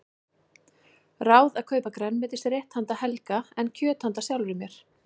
Ráð að kaupa grænmetisrétt handa Helga en kjöt handa sjálfri mér.